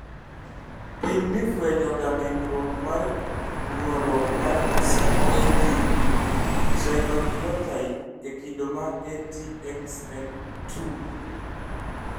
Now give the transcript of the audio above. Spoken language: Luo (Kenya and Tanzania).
Pim ni fuenyo ga ng'ikruok mar nuoruok mar CAG trinucleotide e kido ma ATXN2